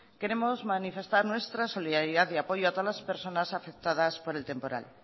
queremos manifestar nuestra solidaridad y apoyo a todos las personas afectadas por el temporal